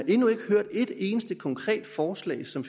endnu ikke hørt et eneste konkret forslag som